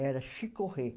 Era chicorré.